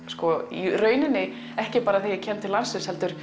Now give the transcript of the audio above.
í rauninni ekki bara þegar ég kem til landsins heldur